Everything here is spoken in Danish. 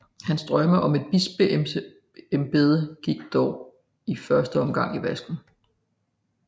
Hans drømme om et bispeembede gik dog i første omgang i vasken